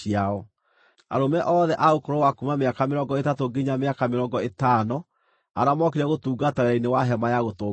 Arũme othe a ũkũrũ wa kuuma mĩaka mĩrongo ĩtatũ nginya mĩaka mĩrongo ĩtano arĩa mookire gũtungata wĩra-inĩ wa Hema-ya-Gũtũnganwo,